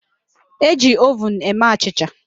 E ji ovun eme achịcha